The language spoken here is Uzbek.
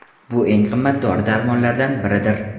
Bu eng qimmat dori-darmonlardan biridir.